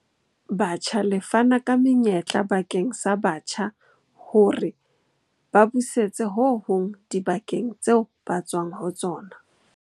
Batjha le fana ka menyetla bakeng sa batjha hore ba busetse ho hong dibakeng tseo ba tswang ho tsona.